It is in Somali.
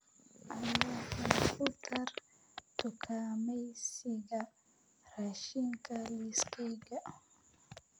alexa ku dar dukaamaysiga raashinka liiskayga